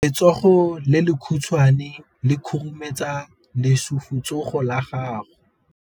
Letsogo le lekhutshwane le khurumetsa lesufutsogo la gago.